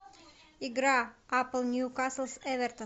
игра апл ньюкасл с эвертон